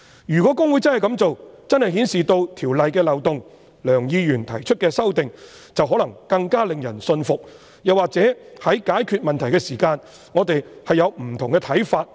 如果公會真的這樣做，便真的顯示《條例》的漏洞，而梁議員提出的修正案，便可能更令人信服，又或在解決問題時，我們會有不同的看法。